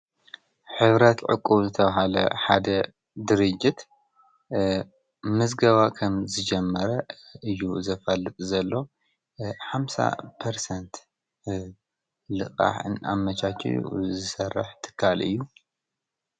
ኅብረት ዕቁብ ዝተብሃለ ሓደ ድርጅት ምዝገባ ኸም ዝጀመረ እዩ ዘፈልጥ ዘሎ ሓምሳ ፐርሰንት ልቓሕ ኣመቻችው ዘሠርሕ ትካል እዩ።